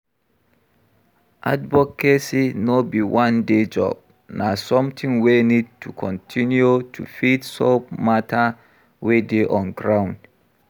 Advocacy no be one day job, na something wey need to continue to fit solve matter wey dey on ground